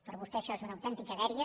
per a vostè això és una autèntica dèria